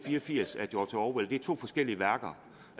religiøs gruppe